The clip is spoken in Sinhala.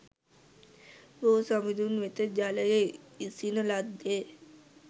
බෝ සමිඳුන් වෙත ජලය ඉසින ලද්දේ